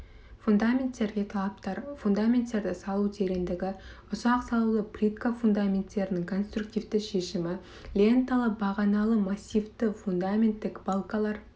фундаменттерге талаптар фундаменттерді салу тереңдігі ұсақ салулы плитка фундаменттерінің конструктивтік шешімі ленталы бағаналы массивті фундаменттік балкалар